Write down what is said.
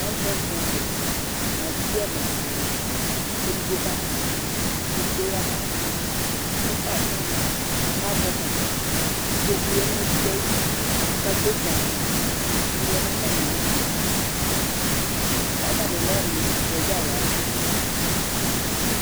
awu president yɛ nu aluvi ɛna dini ya, ku edigbo ka mufa, ku edigbo ya nu ayɛtu, ku ɛfua atsana, ku azɛ ɛkɔtɔ, ku ikpoku ya nu edigbo ayidu, ku patesa sʋa, ku ivi lɛ nu ata mi alɔ, ku ata mi n'ɛtuɛ dza yavu